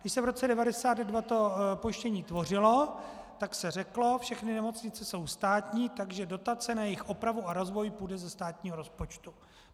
Když se v roce 1992 to pojištění tvořilo, tak se řeklo, všechny nemocnice jsou státní, takže dotace na jejich opravu a rozvoj půjdou ze státního rozpočtu.